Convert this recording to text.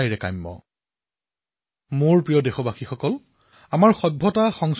মোৰ মৰমৰ দেশবাসীসকল আমাৰ সভ্যতা সংস্কৃতি আৰু ভাষাই সমগ্ৰ বিশ্বক বৈচিত্ৰতাৰ মাজত একতাৰ বাৰ্তা প্ৰদান কৰে